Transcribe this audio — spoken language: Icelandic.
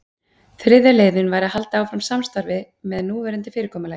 Þriðja leiðin væri að halda áfram samstarfi með núverandi fyrirkomulagi.